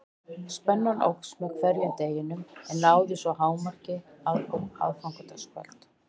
Spennan óx með hverjum deginum en náði svo hámarki á aðfangadagskvöld.